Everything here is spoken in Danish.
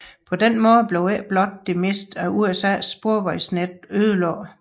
På den måde blev ikke blot det meste af USAs sporvejsnet ødelagt